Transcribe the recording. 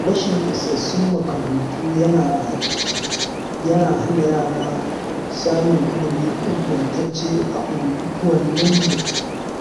Rashin isassun makarantu yana hana yara samun ilimi ingantacce a unguwaninmu.